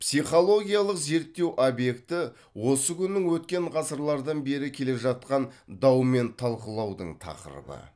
психологиялық зерттеу объекті осы күннің өткен ғасырлардан бері келе жатқан дау мен талқылаудың тақырыбы